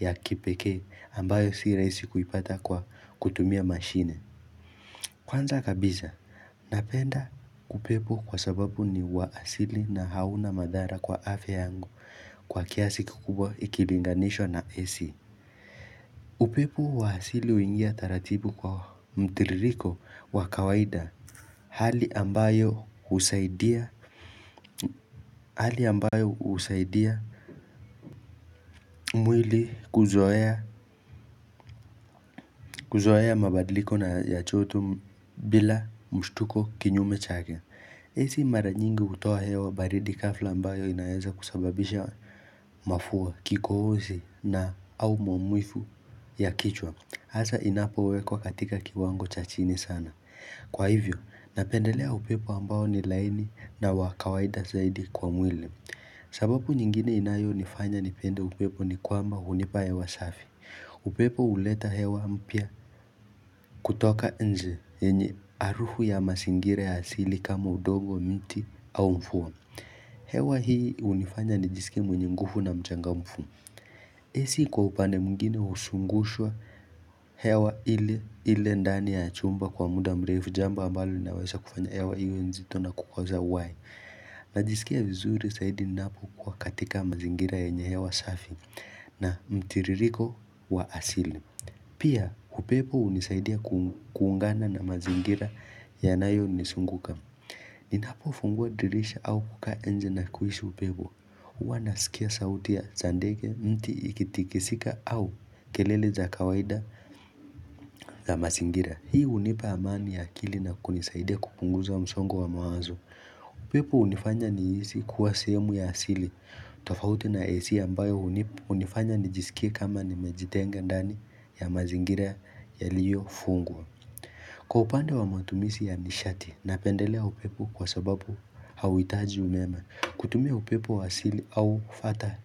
ya kipekee ambayo si rahisi kuipata kwa kutumia mashine Kwanza kabisa, napenda upepo kwa sababu ni wa asili na hauna madhara kwa afya yangu kwa kiasi kikubwa ikilinganishwa na AC upepo wa asili huingia taratibu kwa mtiririko wa kawaida Hali ambayo husaidia mwili kuzoea kuzoea mabadiliko na ya joto bila mshtuko kinyume chake AC mara nyingi hutoa hewa baridi ghafla ambayo inaweza kusababisha mafua kikohozi au maumivu ya kichwa hasa inapowekwa katika kiwango cha chini sana Kwa hivyo, napendelea upepo ambao ni laini na wakawaida zaidi kwa mwili sababu nyingine inayo nifanya nipende upepo ni kwamba hunipa hewa safi upepo huleta hewa mpya kutoka nje yenye harufu ya mazingira ya asili kama udongo mti au mvua hewa hii hunifanya nijiskie mwenye nguvu na mchangamfu AC kwa upande mwingine huzungushwa hewa indani ya chumba kwa muda mrefu jambo ambalo linaweza kufanya hewa iwe nzito na kukosa uhai najisikia vizuri zaidi ninapo kuwa katika mazingira yenye hewa safi na mtiririko wa asili Pia upepo hunisaidia kuungana na mazingira yanayo nizunguka Ninapo fungua dirisha au kukaa nje na kuhisi upepo huwa nasikia sauti ya za ndege mti ikitikizingika au kelele za kawaida za mazingira Hii hunipa amani ya akili na kunisaidia kupunguza msongo wa mawazo upepo hunifanya nihisi kuwa sehemu ya asili tofauti na AC ambayo hunifanya nijisikia kama nime jitenga ndani ya mazingira yaliyo fungwa Kwa upande wa matumizi ya nishati napendelea upepo kwa sababu hauhitaji umeme kutumia upepo wa asili au fata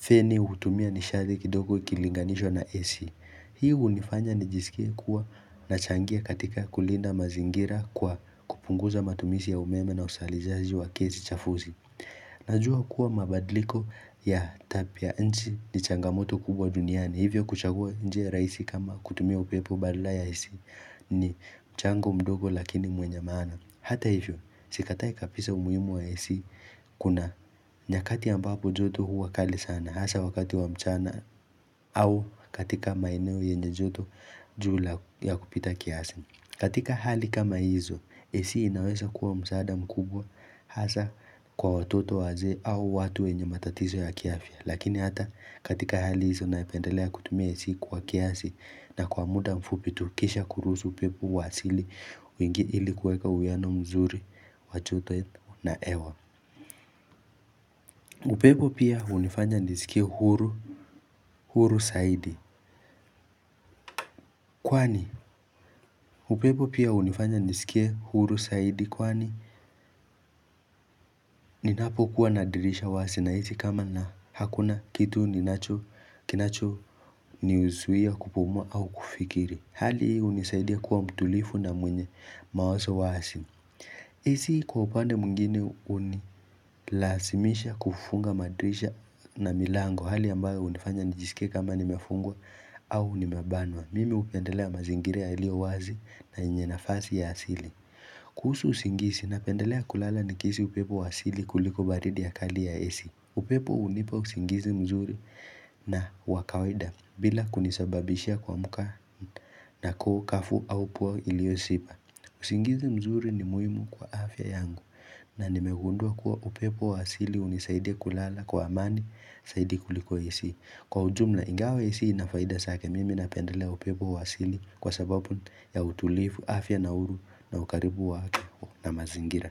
feni hutumia nishadhi kidogo ikilinganishwa na AC Hii hunifanya nijisikie kuwa na changia katika kulinda mazingira kwa kupunguza matumizi ya umeme na uzalisaji wa kesi chafuzi Najua kuwa mabadiliko ya tabia nchi ni changamoto kubwa duniani Hivyo kuchagua njia rahisi kama kutumia upepo badala ya AC ni mchango mdogo lakini mwenye maana Hata hivyo, sikatai kabisa umuhimu wa AC kuna nyakati ambapo joto huwa kali sana Hasa wakati wa mchana au katika maeneo yenye joto juu ya kupita kiasi katika hali kama hizo, AC inaweza kuwa msaada mkubwa Hasa kwa watoto wazee au watu wenye matatizo ya kiafya Lakini hata katika hali hizo napendelea kutumia AC kwa kiasi na kwa muda mfupi tu kisha kuruhusu upepo wa asili Uingie ili kuweka uwiano mzuri, wajoto na hewa upepo pia hunifanya nisikie huru zaidi Kwani, upepo pia hunifanya nisikie huru zaidi Kwani, ninapo kuwa na dirisha wazi nahisi kama na hakuna kitu ninacho, kinacho, nizuia kupumua au kufikiria Hali hii hunisaidia kuwa mtulivu na mwenye mawazo wazi AC kwa upande mwingine hunilazimisha kufunga madirisha na milango hali ambayo hunifanya nijisike kama nimefungwa au nimebanwa Mimi hupendelea mazingira yaliyo wazi na yenye nafasi ya asili kuhusu usingizi napendelea kulala nikihisi upepo wa asili kuliko baridi y kali ya AC upepo hunipa usingizi mzuri na wakawaida bila kunisababisha kuamka na kuhu kavu au puwa ilio shiba usingizi mzuri ni muhimu kwa afya yangu na nimegundua kuwa upepo wa asili hunisaidia kulala kwa amani zaidi kuliko AC. Kwa ujumla ingawa AC ina faida zake mimi napendelea upepo wa asili kwa sababu ya utulivu afya na uhuru na ukaribu wake na mazingira.